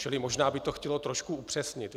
Čili možná by to chtělo trošku upřesnit.